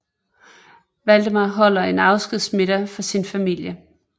Waldemar holder en afskedsmiddag for sin familie